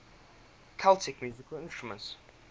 celtic musical instruments